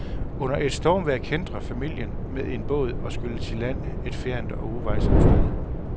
Under et stormvejr kæntrer familien med en båd og skylles i land et fjernt og uvejsomt sted.